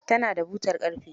Ta na da butar ƙarfe.